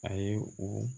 A ye o